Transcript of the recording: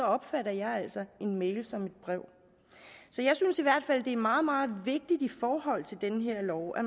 opfatter jeg altså en mail som et brev så jeg synes i hvert fald det er meget meget vigtigt i forhold til den her lov at